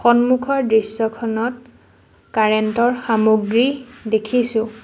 সন্মুখৰ দৃশ্যখনত কাৰেণ্ট ৰ সামগ্ৰী দেখিছোঁ।